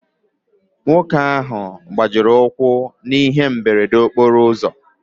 Nwoke ahụ gbajiri ụkwụ na ihe mberede okporo ụzọ.